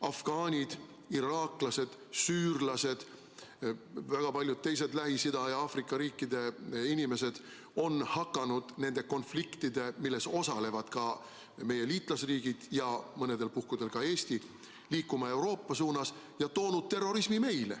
Afgaanid, iraaklased, süürlased, väga paljud teised Lähis-Ida ja Aafrika riikide inimesed on hakanud nende konfliktide tõttu, milles osalevad ka meie liitlasriigid ja mõnel puhul ka Eesti, liikuma Euroopa suunas ja toonud terrorismi meile.